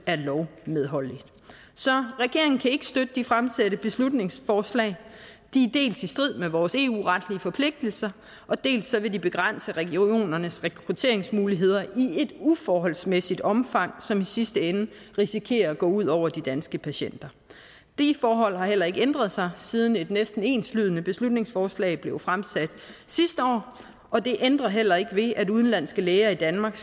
er lovmedholdelig så regeringen kan ikke støtte de fremsatte beslutningsforslag de er dels i strid med vores eu retlige forpligtelser dels vil de begrænse regionernes rekrutteringsmuligheder i et uforholdsmæssigt omfang som i sidste ende risikerer at gå ud over de danske patienter de forhold har heller ikke ændret sig siden et næsten enslydende beslutningsforslag blev fremsat sidste år og det ændrer heller ikke ved at udenlandske læger i danmark